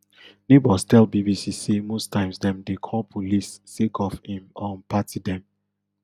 neighbours tell bbc say most times dem dey call police sake of im um party dem